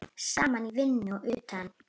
Saman í vinnu og utan.